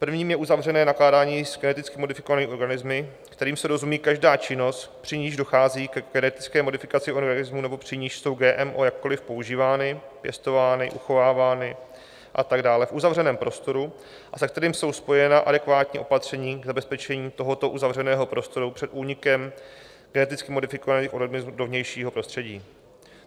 Prvním je uzavřené nakládání s geneticky modifikovanými organismy, kterým se rozumí každá činnost, při níž dochází ke genetické modifikaci organismů nebo při níž jsou GMO jakkoli používány, pěstovány, uchovávány a tak dále v uzavřeném prostoru a se kterým jsou spojena adekvátní opatření k zabezpečení tohoto uzavřeného prostoru před únikem geneticky modifikovaných organismů do vnějšího prostředí.